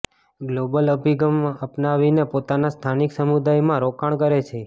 global અભિગમ અપનાવીને પોતાના સ્થાનિક સમુદાયમાં રોકાણ કરે છે